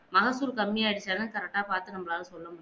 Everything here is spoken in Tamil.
மகப்பூரு கம்மியா இருந்தா தான் correct ஆ பார்த்து நம்மலால சொல்ல முடியும்